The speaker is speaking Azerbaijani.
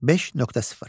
5.0.